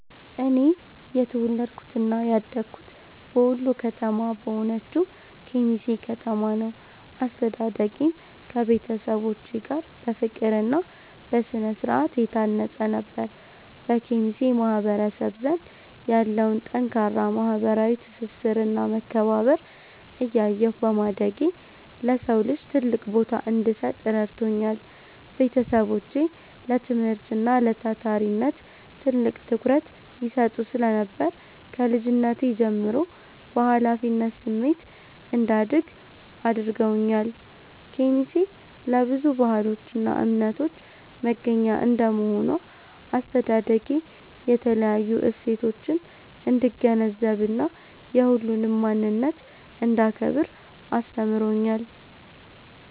እኔ የተወለድኩትና ያደግኩት በወሎ ከተማ በሆነችው ኬሚሴ ከተማ ነው። አስተዳደጌም ከቤተሰቦቼ ጋር በፍቅርና በስነ-ስርዓት የታነጸ ነበር። በኬሚሴ ማህበረሰብ ዘንድ ያለውን ጠንካራ ማህበራዊ ትስስርና መከባበር እያየሁ በማደጌ፣ ለሰው ልጅ ትልቅ ቦታ እንድሰጥ ረድቶኛል። ቤተሰቦቼ ለትምህርትና ለታታሪነት ትልቅ ትኩረት ይሰጡ ስለነበር፣ ከልጅነቴ ጀምሮ በኃላፊነት ስሜት እንዳድግ አድርገውኛል። ኬሚሴ ለብዙ ባህሎችና እምነቶች መገናኛ እንደመሆኗ፣ አስተዳደጌ የተለያዩ እሴቶችን እንድገነዘብና የሁሉንም ማንነት እንዳከብር አስተምሮኛል።